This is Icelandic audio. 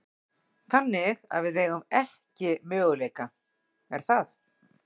Þannig að við eigum ekki möguleika, er það?